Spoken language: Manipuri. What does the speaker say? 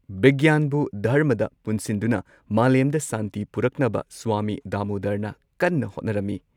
ꯕꯤꯒ꯭ꯌꯥꯟꯕꯨ ꯙꯔꯃꯗ ꯄꯨꯟꯁꯤꯟꯗꯨꯅ ꯃꯥꯂꯦꯝꯗ ꯁꯥꯟꯇꯤ ꯄꯨꯔꯛꯅꯕ ꯁ꯭ꯋꯥꯃꯤ ꯗꯥꯃꯣꯗꯔꯅ ꯀꯟꯅ ꯍꯣꯠꯅꯔꯝꯃꯤ ꯫